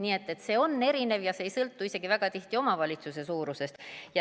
Nii et see on erinev ja see ei sõltu isegi väga tihti omavalitsuse suurusest.